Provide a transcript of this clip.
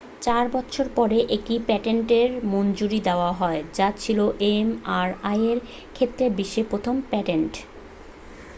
চার বছর পরে একটি পেটেন্টের মঞ্জুরি দেওয়া হয় যা ছিল mri-এর ক্ষেত্রে বিশ্বের প্রথম পেটেন্ট।